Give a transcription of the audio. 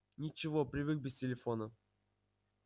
ничего привык без телефона